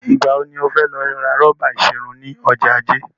Ìgbà wo ni o fẹ́ lọ ra rọ́bà ìṣerun ni ọjọ́ Ajé?